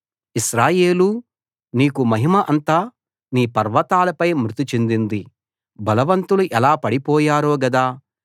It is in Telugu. ఇశ్రాయేలూ నీకు మహిమ అంతా నీ పర్వతాలపై మృతి చెందింది బలవంతులు ఎలా పడిపోయారో గదా